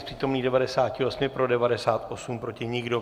Z přítomných 98 pro 98, proti nikdo.